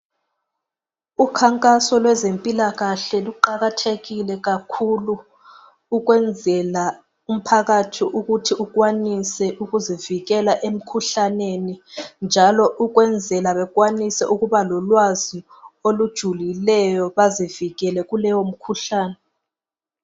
Ukhankaso lweze mpilakahle kuqakathekile kakhulu ukwenzela ukuthi umphakathi ukuthi ukwanise ukuzivikela emkhuhlaneni njalo ukwenzela bekwanise ukuba lolwazi olujulilego bazivikele kuleyo mkhuhlane